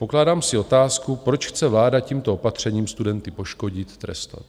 Pokládám si otázku, proč chce vláda tímto opatřením studenty poškodit, trestat.